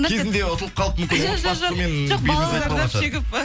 кезінде ұтылып қалып мүмкін отбасымен бетіңіз қайтып қалған шығар